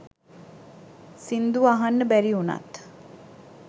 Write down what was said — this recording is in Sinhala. සිංදුව අහන්න බැරි උනත්